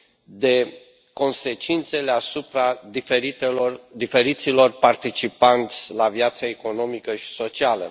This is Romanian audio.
de consecințele asupra diferiților participanți la viața economică și socială.